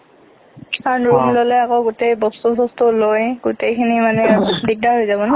কাৰণ room ললে আকো গোতেই বস্তু চষ্টু লৈ গোতেই খিনি মানে দিগদাৰ হৈ যাব না।